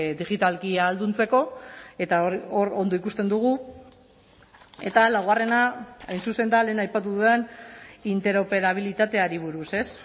digitalki ahalduntzeko eta hor ondo ikusten dugu eta laugarrena hain zuzen da lehen aipatu dudan interoperabilitateari buruz ez